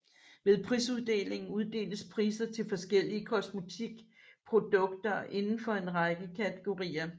Ved prisuddelingen uddeles priser til forskellige kosmetikprodukter inden for en række kategorier